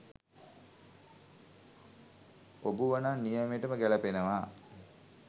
ඔබුවනං නියමෙටම ගැලපෙනවා